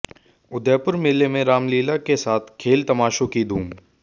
उदयपुर मेले में रामलीला के साथ खेल तमाशों की धूम